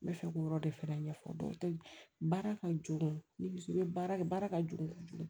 N bɛ fɛ k'o yɔrɔ de fɛnɛ ɲɛfɔ dɔw tɛ ye baara ka jugu ni bɛ baara kɛ baara ka jugu ka jugu